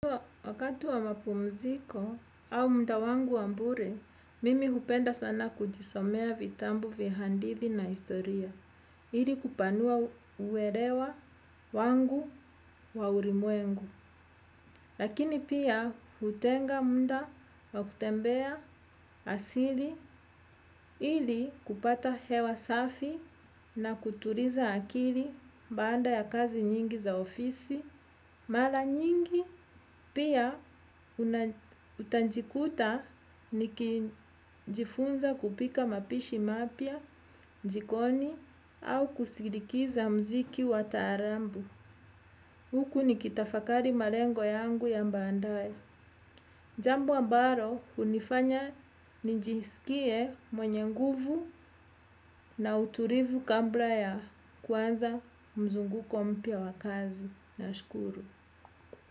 Wakati wa mapumziko au mda wangu wa bure, mimi hupenda sana kujisomea vitambu vya handithi na historia. Ili kupanua uerewa wangu wa urimwengu. Lakini pia hutenga mda wa kutembea asili ili kupata hewa safi na kuturiza akili baada ya kazi nyingi za ofisi. Mara nyingi pia utanjikuta nikijifunza kupika mapishi mapya, jikoni, au kusirikiza mziki wa taarambu. Huku nikitafakari marengo yangu ya mbaandaye. Jambu ambaro hunifanya njiisikie mwenye nguvu na uturivu kambla ya kuanza mzunguko mpya wa kazi. Nashukuru.